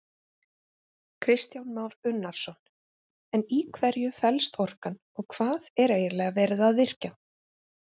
Kristján Már Unnarsson: En í hverju fellst orkan og hvað er eiginlega verið að virkja?